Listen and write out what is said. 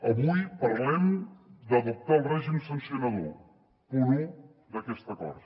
avui parlem d’adoptar el règim sancionador punt un d’aquest acord